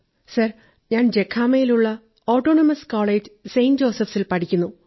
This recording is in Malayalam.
സർ ഞാൻ ജഖാമയിലുള്ള ഓടോണമസ് കോളജ് സെന്റ് ജോസഫ്സിൽ പഠിക്കുന്നു